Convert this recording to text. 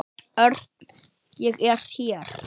Örn, ég er hér